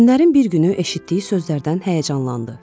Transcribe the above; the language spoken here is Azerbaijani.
Günlərin bir günü eşitdiyi sözlərdən həyəcanlandı.